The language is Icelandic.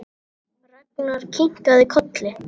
Ragnar kinkaði kolli.